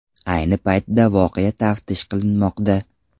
Ayni paytda voqea taftish qilinmoqda.